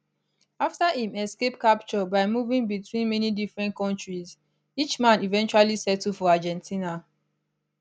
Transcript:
afta im escape capture by moving between many different kontris eichmann eventually settle for argentina